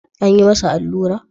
An yi masa allura?